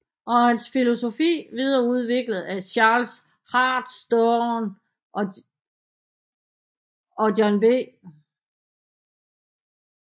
Og hans filosofi videreudviklet af Charles Hartstorne og John B